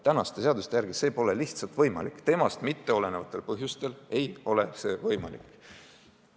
Praeguste seaduste järgi see pole lihtsalt võimalik – temast mitteolenevatel põhjustel ei ole see võimalik.